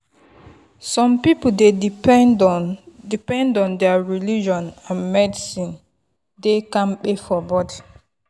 some people dey depend on depend on their religion and medicine dey kampe for body.